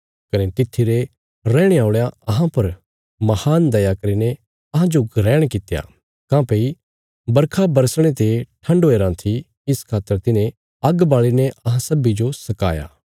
कने तित्थी रे रैहणे औल़यां अहां पर महान दया करीने अहांजो ग्रहण कित्या काँह्भई बरखा बरसणे ते ठण्ड हुया राँ थी इस खातर तिन्हें आग्ग बाल़ीने अहां सब्बीं जो सकाया